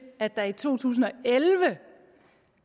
at der i to tusind og elleve